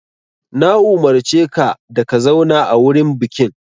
Na umurce ka da ka zauna a wurin bukin!